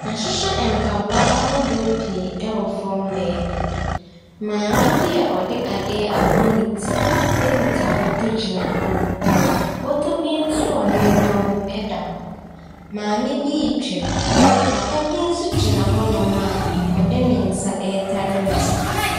Yɛahyehyɛ mpaboa ahodoɔ pii ɛwɔ fam hɔ baabi. Maame bi a ɔde adeɛ abɔ ne ti ekita bɔtɔ gyina hɔ nom. Bɔtɔ bi nso a nneɛma wom ɛda hɔ. Maame bi twam. Papa bi nso gyina hɔ nom a ɔde ne nsa ɛtare n'aso.